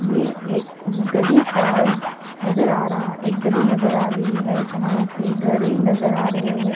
ये एक गली का नजर आ रहा है एक गली नजर आ रही है जहां पे घरें नजर आ रहे हैं।